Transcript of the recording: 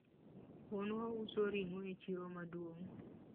wuonwa uso ringo e chiro maduong